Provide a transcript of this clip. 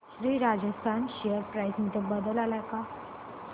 Shri Rajasthan share price मध्ये बदल आलाय का